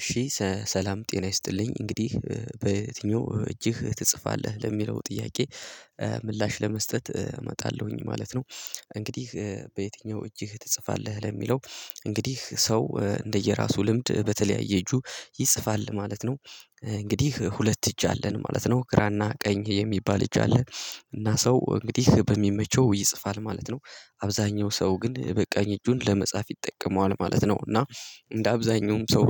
እሺ ሰላም ጤና ይስጥልኝ እንግዲህ በየተኛው እጅህ ትጽፋለህ ለሚለው ጥያቄ ምላሽ ለመስጠት እመጣለሁኝ ማለት ነው። እንግዲህ በየትኛው እጅህ ትጽፋለህ ለሚለው? እንግዲህ ሰው እንደየራሱ ልምድ በተለያየ እጁ ይጽፋል ማለት ነው። እንግዲህ ሁለት እጅ አለን ማለት ነው ግራና ቀኝ የሚባል እጅ አለ። እና ሰው እንግዲህ በሚመቸው ይጽፋል ማለት ነው። አብዛኛው ሰው ግን በቀኝ እጁን ለመጻፍ ይጠቀመዋል ማለት ነው። እና እንደ አብዛኛውም ሰው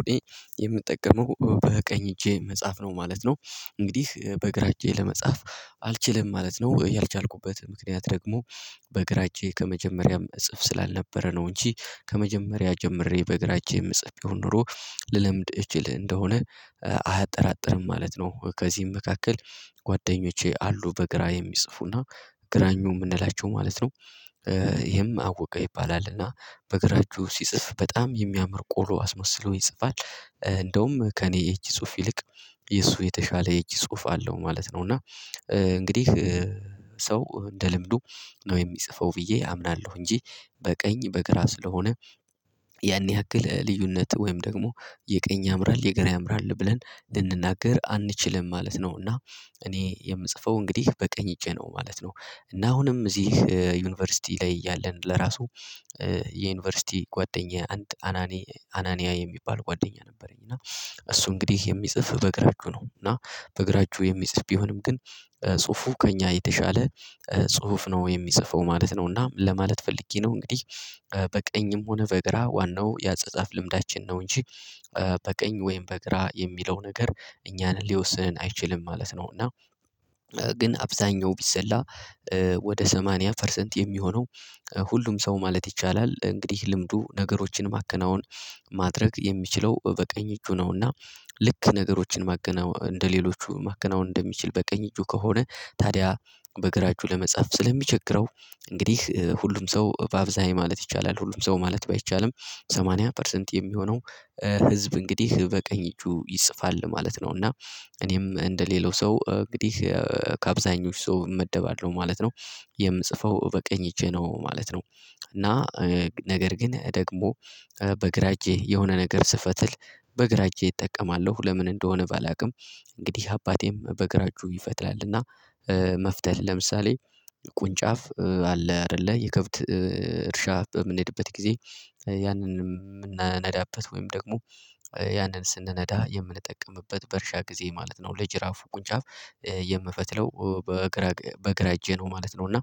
የምጠቀመው በቀኝ እጄ መጽሐፍ ነው ማለት ነው። እንግዲህ በግራ እጄ ለመጻፍ አልችልም ማለት ነው። ያልቻልኩበት ምክንያት ደግሞ በግራ እጄ ከመጀመሪያም እጽፍ ስላልነበረ ነው። እንጂ ከመጀመሪያ ጀምሬ በግራ እጄን የምጽፍ ቢሆን ኖሮ ልለምድ እችል እንደሆነ አያጠራጥርም ማለት ነው። ከዚህም መካከል ጓደኞቼ አሉ በግራ የሚጽፉና ግራኙ ምንላቸው ማለት ነው። ይሄም ኣወቀ ይባላልና። በግራ እጁ ሲጽፍ በጣም የሚያምር ቆሎ አስመስሎ ይጽፋል እንደውም ከእኔ እጅ ጽሁፍ ይልቅ የሱ የተሻለ እጅ ጽሁፍ አለው ማለት ነው። እና እንግዲህ ሰው እንደ ልምዱ ነው የሚጽፈው ብዬ አምናለሁ እንጂ በቀኝ በግራ ስለሆነ። ያን ያሃክል ልዩነት ወይም ደግሞ የቀኝ ያምራል የግራ ያምራል ብለን ልንናገር አንችልም ማለት ነው። እና እኔ የምጽፈው እንግዲህ በቀኝ እጄ ነው ማለት ነው። እና አሁንም እዚህ ዩኒቨርሲቲ ላይ ያለን ለራሱ የዩኒቨርሲቲ ጓደኛ አንድ አናኒ አናኒያ የሚባል ጓደኛ ነበረኝ። እና እሱ እንግዲህ የሚጽፍ በግራ እጁ ነው። እና በግራ እጁ የሚጽፍ ቢሆንም ግን ጽሁፉ ከእኛ የተሻለ ጽሁፍ ነው የሚጽፈው ማለት ነው። እና ለማለት ፈልጌ ነው እንግዲህ። በቀኝም ሆነ በግራ ዋናው የአጻጻፍ ልምዳችን ነው እንጂ በቀኝ ወይም በግራ የሚለው ነገር እኛን ሊወስን አይችልም ማለት ነው። እና ግን አብዛኛው ቢሰላ ወደ ሰማንያ ፐርሰንት የሚሆነው ሁሉም ሰው ማለት ይቻላል እንግዲህ ልምዱ ነገሮችን ማከናወን ማድረግ የሚችለው በቀኝ እጁ ነውና። ልክ ነገሮችን ማካናወን እንደሌሎቹ ማካናወን እንደሚችል በቀኝ እጁ ከሆነ ታዲያ በግራ እጁ ለመጻፍ ስለሚቸግረው እንግዲህ ሁሉም ሰው በአብዛኛው ማለት ይቻላል ሁሉም ሰው ማለት ባይቻልም ሰማንያ ፐርሰንት የሚሆነው ህዝብ እንግዲህ በቀኝ እጁ ይጽፋል ማለት ነው። እና እኔም እንደሌላው ሰው እንግዲህ ከአብዛኞች ሰው እመደባለሁ ማለት ነው። የምጽፈው በቀኝ እጄ ነው ማለት ነው። እና ነገር ግን ደግሞ በግራ እጄ የሆነ ነገር ስፈትል በግራ እጄ እጠቀማለሁ ለምን እንደሆነ ባላውቅም እንግዲህ አባቴም በግራ እጁ ይፈትላልና። መፍተል ለምሳሌ ቁንጫፍ አለ አይደለ የከብት እርሻ በምንሄድበት ጊዜ ያንን የምናነዳበት ወይም ደግሞ ያንን ስንነዳ የምንጠቀምበት በእርሻ ጊዜ ማለት ነው። ለጅራፉ ቁንጫፍ የእምፈትለው በግራ በግራ እጄ ነው ማለት ነው። እና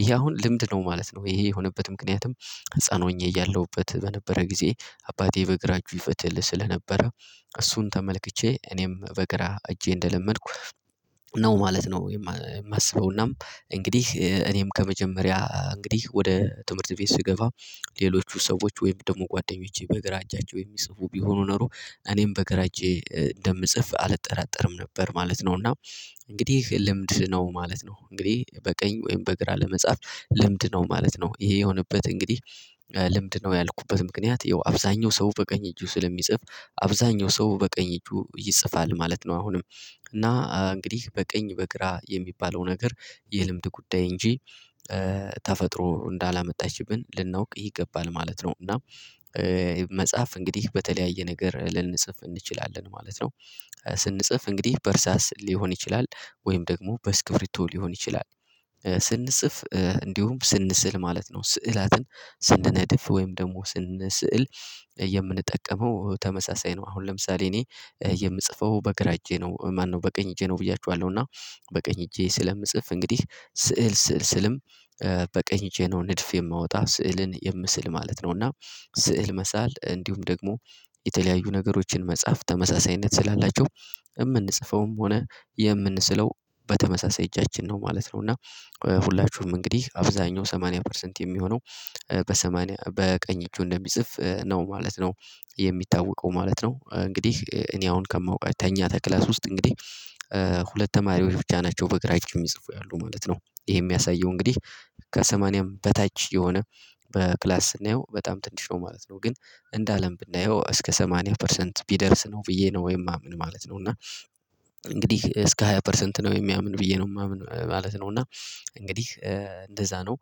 ይሄ አሁን ልምድ ነው ማለት ነው። ይሄ የሆነበት ምክንያትም ህፃን ሆኜ እያለሁበት በነበረ ጊዜ አባቴ በግራ እጁ ይፈትል ስለነበረ እሱን ተመልክቼ እኔም በግራ እጄ እንደለመድኩ ነው ማለት ነው። የማስበውናም እንግዲህ እኔም ከመጀመሪያ እንግዲህ ወደ ትምህርት ቤት ስገባ ሌሎቹ ሰዎች ወይም ደሞ ጓደኞቼ በግራ እጃቸው የሚጽፉ ቢሆኑ ኖሮ እኔም በግራ እጄ እንደምጽፍ አልጠራጠርም ነበር ማለት ነው። እና እንግዲህ ልምድ ነው ማለት ነው። እንግዲህ በቀኝ ወይም በግራ ለመጻፍ ልምድ ነው ማለት ነው። ይሄ የሆነበት እንግዲህ ልምድ ነው ያልኩበት ምክንያት ይኸው አብዛኛው ሰው በቀኝ እጁ ስለሚጽፍ አብዛኛው ሰው በቀኝ እጁ ይጽፋል ማለት ነው። አሁንም እና እንግዲህ በቀኝ በግራ የሚባለው ነገር የልምድ ጉዳይ እንጂ ተፈጥሮ እንዳላመጣችብን ልናውቅ ይገባል ማለት ነው። እና መጻፍ እንግዲህ በተለያየ ነገር ልንጽፍ እንችላለን ማለት ነው። ስንጽፍ እንግዲህ በእርሳስ ሊሆን ይችላል ወይም ደግሞ በስክብሪቶ ሊሆን ይችላል። ስንጽፍ እንዲሁም ስንስል ማለት ነው ስዕላትን ስንነድፍ ወይም ደግሞ ስንስእል። የምንጠቀመው ተመሳሳይ ነው። አሁን ለምሳሌ እኔ የምጽፈው በግራ እጄ ነው ማነው በቀኝ እጄ ነው ብያችኋለው እና። በቀኝ እጄ ስለምጽፍ እንግዲህ ስዕል ስዕል ስዕልም በቀኝ እጄ ነው ንድፍ የማወጣ ስዕልን የምስል ማለት ነው እና። ስዕል መሳል እንዲሁም ደግሞ የተለያዩ ነገሮችን መጽሐፍ ተመሳሳይነት ስላላቸው የምንጽፈውም ሆነ የምንስለው በተመሳሳይ እጃችን ነው ማለት ነው። እና ሁላችሁም እንግዲህ አብዛኛው ሰማንያ ፐርሰንት የሚሆነው በስማንያ በቀኝ እጁ እንደሚጽፍ ነው ማለት ነው። የሚታወቀው ማለት ነው። እንግዲህ እኔ አሁን ከማውቃት ከኛ ከክላስ ውስጥ እንግዲህ ሁለት ተማሪዎች ብቻ ናቸው በግራ እጅ እሚጽፉ ያሉ ማለት ነው። ይሄ የሚያሳየው እንግዲህ ከሰማንያም በታች የሆነ በክላስ ስናየው በጣም ትንሽ ነው ማለት ነው። ግን እንደ አለም ብናየው እስከ ሰማንያ ፐርሰንት ቢደርስ ነው ብዬ ነው የማምን ማለት ነው። እና እንግዲህ እስከ ሃያ ፐርሰንት ነው የሚያምኑ ብዬ ነው የማምን ማለት ነው። እና እንግዲህ እንደዛ ነው።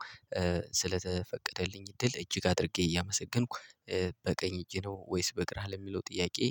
ስለተፈቀደልኝ ድል እጅግ አድርጌ እያመሰገንኩ በቀኝ እጄ ነው ወይስ በግራህ ለሚለው ጥያቄ